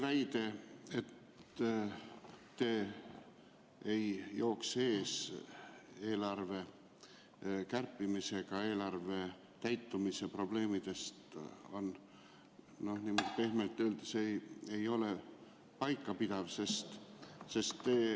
Väide, et te ei jookse eelarve kärpimisega eelarve täitumise probleemide eest ära, ei ole pehmelt öeldes paikapidav.